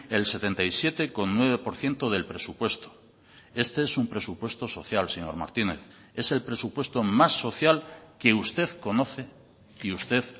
el setenta y siete coma nueve por ciento del presupuesto este es un presupuesto social señor martínez es el presupuesto más social que usted conoce y usted